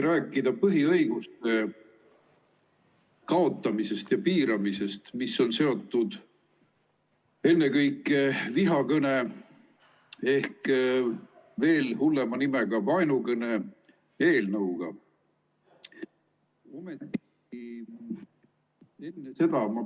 ... rääkida põhiõiguste kaotamisest ja piiramisest, mis on seotud ennekõike vihakõne ehk, veel hullema nimega, vaenukõne eelnõuga.